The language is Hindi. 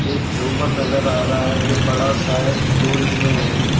एक झूमर नजर आ रहा है जो बड़ा सा है गोल में है।